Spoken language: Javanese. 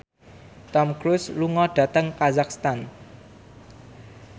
Tom Cruise lunga dhateng kazakhstan